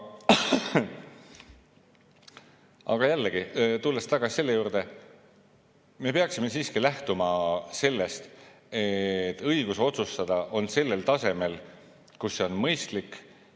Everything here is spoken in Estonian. Aga jällegi, tulles tagasi juurde, me peaksime siiski lähtuma sellest, et õigus otsustada on sellel tasemel, kus see on mõistlik.